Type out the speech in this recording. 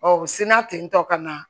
u sina tentɔ ka na